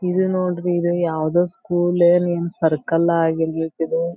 ಇದು ನೋಡ್ರಿ ಇದು ಯಾವದೋ ಸ್ಕೂಲೋ ಏನ್ ಸರ್ಕಲ್ ಆಗಿರಬೇಕಿದು.